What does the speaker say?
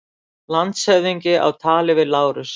Landshöfðingi á tali við Lárus.